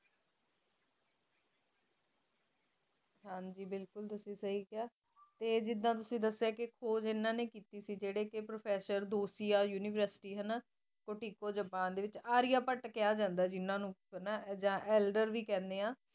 ਹਨ ਜੀ ਬਿਕਲਕੁਲ ਤੁਸੀ ਸਹੀ ਕਹਾ ਤੇ ਜ਼ੀਰਾ ਕ ਤੁਸੀ ਦੱਸਿਆ ਕ ਖੋਜ ਇਨ੍ਹਾਂ ਨੇ ਕਿੱਤੀ ਸੀ ਜ਼ੀਰੇ ਪ੍ਰੋਫੇਸਰ ਆਂ ਜਪਾਨ ਦੇ ਦੇ ਵਿਚ ਆਰੀਆ ਬੁੱਤ ਕਹਾ ਜਾਂਦਾ ਹੈ ਜਿਨ੍ਹਾਂ ਨੂੰ ਆਲਡਰ ਭੀ ਕਹਿੰਦੇ ਆਂ